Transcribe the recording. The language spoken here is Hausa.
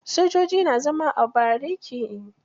Sojoji na zama a bariki.